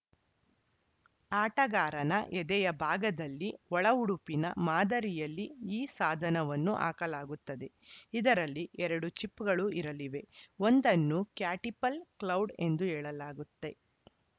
ಆಟಗಾರನ ಎದೆಯ ಭಾಗದಲ್ಲಿ ಒಳ ಉಡುಪಿನ ಮಾದರಿಯಲ್ಲಿ ಈ ಸಾಧವನ್ನು ಹಾಕಲಾಗುತ್ತದೆ ಇದರಲ್ಲಿ ಎರಡು ಚಿಪ್‌ಗಳು ಇರಲಿವೆ ಒಂದನ್ನು ಕ್ಯಾಟಿಪಲ್‌ ಕ್ಲೌಡ್‌ ಎಂದು ಹೇಳಲಾಗುತ್ತೆ